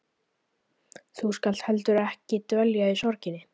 Þú skalt heldur ekki dvelja í sorginni.